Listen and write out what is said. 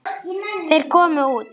Þeir komu út.